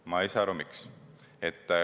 Ma ei saa aru, miks.